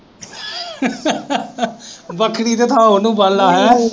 ਬੱਕਰੀ ਦੀ ਥਾਂ ਉਨੂੰ ਬੰਨ ਲਾ ਹੈਅ।